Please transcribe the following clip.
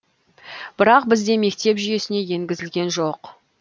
бірақ бізде мектеп жүйесіне енгізілген жоқ